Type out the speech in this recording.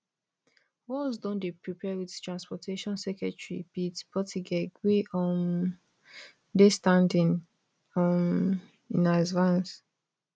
walz don dey prepare wit transportation secretary pete buttigieg wey um dey standing um in as vance